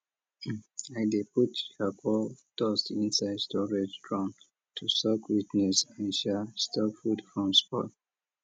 i dey put charcoal dust inside storage drum to soak wetness and sha stop food from spoil